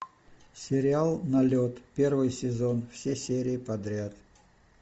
сериал налет первый сезон все серии подряд